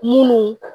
Munnu